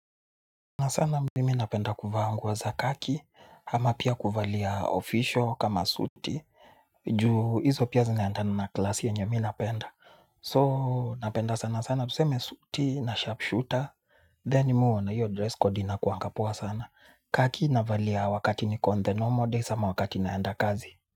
Na sana mimi napenda kuvaa nguo za kaki, hama pia kuvalia official kama suti. Ju hizo pia zinaeandana na klasi yenye mi napenda So napenda sana sana tuseme suti na sharpshooter Then mi huona hiyo dress code inakuangapoa sana. Kaki navalia wakati niko on the normal days ama wakati naenda kazi.